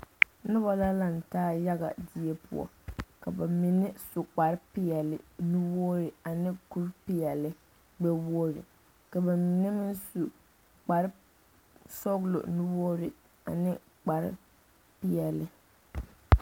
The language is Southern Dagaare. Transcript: Noba la lantaa yaga die poɔ ka bamine su kpare peɛle nu-wogiri ane kuri peɛle gbɛ-wogiri ka bamine meŋ su kpare sɔgelɔ nu-wogiri ane kpare peɛle.